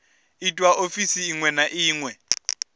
itwa ofisini iṅwe na iṅwe